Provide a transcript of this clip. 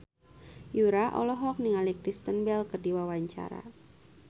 Yura olohok ningali Kristen Bell keur diwawancara